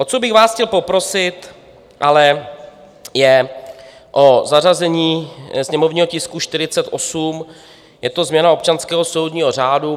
O co bych vás chtěl poprosit, ale je o zařazení sněmovního tisku 48, je to změna občanského soudního řádu.